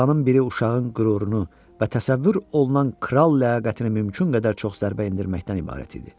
Planın biri uşağın qürurunu və təsəvvür olunan kral ləyaqətini mümkün qədər çox zərbə endirməkdən ibarət idi.